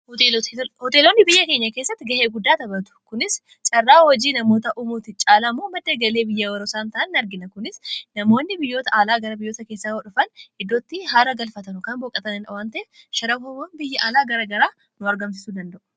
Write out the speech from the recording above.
hoteeloonni biyya keenya keessatti ga'ee guddaa tabatu kunis caarraa hojii namoota umuuti caalamoo madda galee biyya warosaan ta'an argina kunis namoonni biyyoota aalaa gara biyyoota keessaa dhufan iddootti haara galfatanu kan booqatan awwante sharan biyya aalaa gara garaa nu argamsisuu danda'u